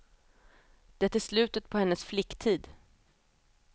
Det är slutet på hennes flicktid.